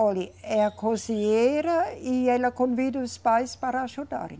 Olhe, é a cozinheira e ela convida os pais para ajudarem.